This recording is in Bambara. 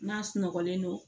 N'a sunɔgɔlen don